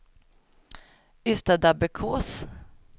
Ystadabbekås